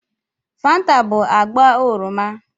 Fanta bụ agba oroma